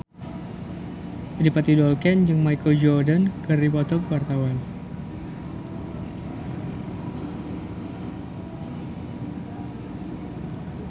Adipati Dolken jeung Michael Jordan keur dipoto ku wartawan